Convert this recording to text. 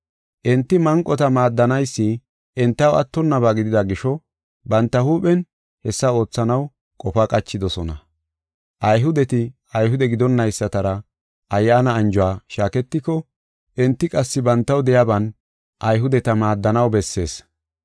Enti manqota maaddanaysi entaw attonnaba gidida gisho banta huuphen hessa oothanaw qofa qachidosona. Ayhudeti Ayhude gidonaysatara ayyaana anjuwa shaaketiko, enti qassi bantaw de7iyaban Ayhudeta maaddanaw bessees.